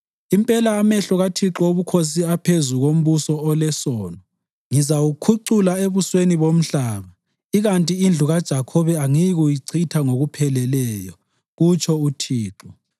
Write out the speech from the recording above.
Impela amehlo kaThixo Wobukhosi aphezu kombuso olesono. Ngizawukhucula ebusweni bomhlaba ikanti indlu kaJakhobe angiyikuyichitha ngokupheleleyo,” kutsho uThixo.